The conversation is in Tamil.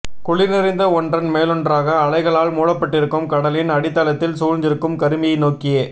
குளிர் நிறைந்த ஒன்றன் மேலொன்றாக அலைகளால் மூடப்பட்டிருக்கும் கடலின் அடித்தளத்தில் சூழ்ந்திருக்கும் கருமையை நோக்கியே